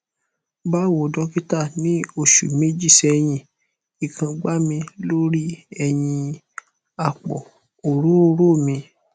bawo dokita ni osu meji sehin ikan gba mi lori eyin apo orooro mi